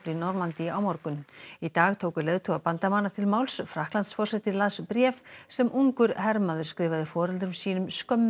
Normandí á morgun í dag tóku leiðtogar bandamanna til máls Frakklandsforseti las bréf sem ungur hermaður skrifaði foreldrum sínum